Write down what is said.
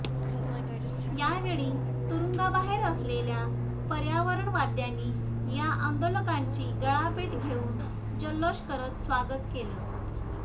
यावेळी तुरुंगाबाहेर असलेल्या पर्यावरणवाद्यांनी या आंदोलकांची गळाभेट घेऊन जल्लोष करत स्वागत केलं